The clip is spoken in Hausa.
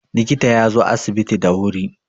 likita ya zo asibiti da wuri